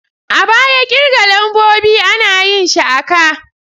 A baya kirga lambobi ana yin shi a ka.